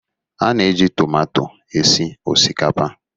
A na -eji tụmato esi osikapa.